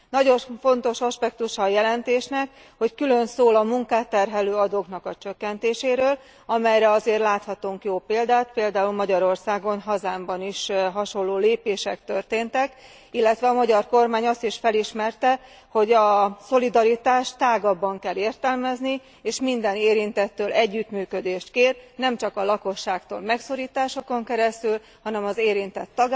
Nagyon fontos aspektusa a jelentésnek, hogy külön szól a munkát terhelő adóknak a csökkentéséről, amelyre azért láthatunk jó példát, például Magyarországon, hazámban is hasonló lépések történtek, illetve a magyar kormány azt is felismerte, hogy a szolidaritást tágabban kell értelmezni, és minden érintettől együttműködést kér, nemcsak a lakosságtól megszorításokon keresztül, hanem az érintett